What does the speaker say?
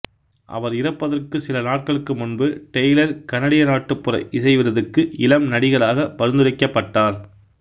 அவர் இறப்பதற்கு சில நாட்களுக்கு முன்பு டெய்லர் கனடிய நாட்டுப்புற இசை விருதுக்கு இளம் நடிகராக பரிந்துரைக்கப்பட்டார்